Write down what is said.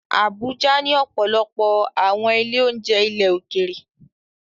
Abuja ní ọ̀pọ̀lọpọ̀ àwọn ilé-oúnjẹ ilẹ̀ òkèèrè